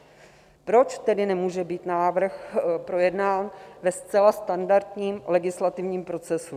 Proč tedy nemůže být návrh projednán ve zcela standardním legislativním procesu?